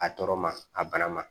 A tɔɔrɔ ma a bana ma